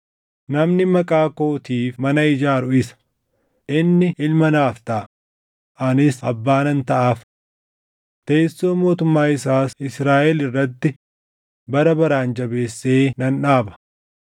Namni Maqaa kootiif mana ijaaru isa. Inni ilma naaf taʼa; anis abbaa nan taʼaaf. Teessoo mootummaa isaas Israaʼel irratti bara baraan jabeessee nan dhaaba.’